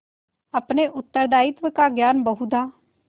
अपने उत्तरदायित्व का ज्ञान बहुधा